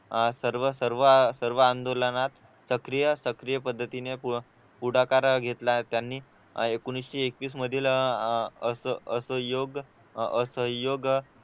अह सर्व सर्व अह सर्व आंदोलनात सक्रिय सक्रिय पद्धतीने पुढाकार घेतला त्यांनी एकोणीशे एकवीस मधील अह अह असहयोग असहयोग